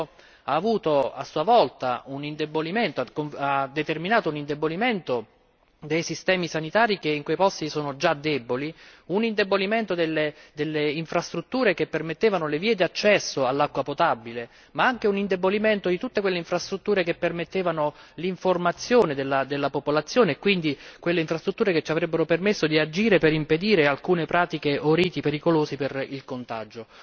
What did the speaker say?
Questo ha avuto a sua volta ha determinato un indebolimento dei sistemi sanitari che in quei posti sono già deboli, un indebolimento delle infrastrutture che permettevano le vie d'accesso all'acqua potabile ma anche un indebolimento di tutte quelle infrastrutture che permettevano l'informazione della popolazione e quindi di quelle infrastrutture che ci avrebbero permesso di agire per impedire alcune pratiche o riti pericolosi per il contagio.